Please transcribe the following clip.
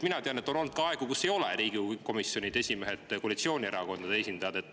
Mina tean, et on olnud ka aegu, kus Riigikogu komisjonide esimehed ei ole olnud koalitsioonierakondade esindajad.